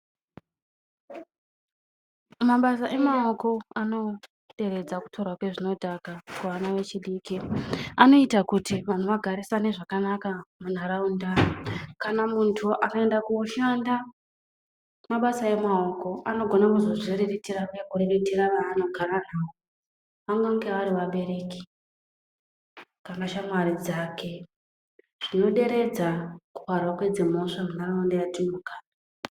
Mabasa emamoko anoderedza kutorwa kwezvinodhaka kuvana vechidiki. Anoita kuti vantu vagarisane zvakanaka muntaraunda. Kana muntu akaenda koshanda mabasa emaoko anogona kuzviriritira kana kuriritira vaanogara navo vanonga vari vabereki kana shamwari dzake. Zvinoderedza kuparwa kwedzi mhosva mundaraunda matiri kugara.